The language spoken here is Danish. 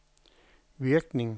virkning